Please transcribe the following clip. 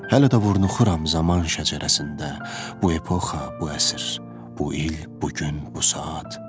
Hələ də vurulam zaman şəcərəsində, bu epoxa, bu əsr, bu il, bu gün, bu saat.